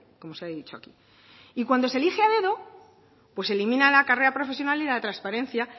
como se ha dicho aquí y cuando se elige a dedo pues se elimina la carrera profesional y la transparencia